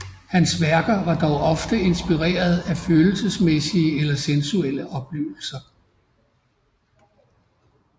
Hans værker var dog ofte inspireret af følelsesmæssige eller sensuelle oplevelser